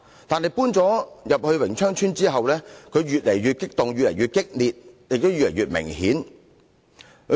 但是，搬進榮昌邨後，他變得越來越激動、越來越激烈，情況越來越明顯。